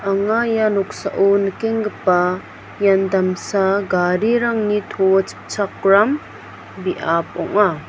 anga ia noksao nikenggipa ian damsa garirangni to chipchakram biap ong·a.